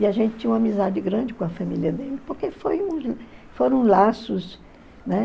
E a gente tinha uma amizade grande com a família dele, porque foi foram laços, né?